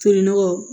Tolinɔgɔ